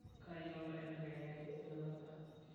kayie oltaa oibelekenyaki enelakwa